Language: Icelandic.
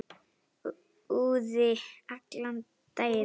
Úði allan daginn.